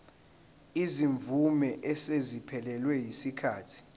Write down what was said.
izimvume eseziphelelwe yisikhathi